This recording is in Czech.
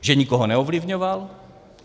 Že nikoho neovlivňoval?